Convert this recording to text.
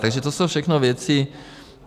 Takže to jsou všechno věci.